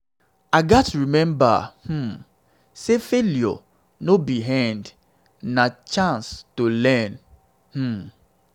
i gats remember um say failure no be the end; na chance to learn. um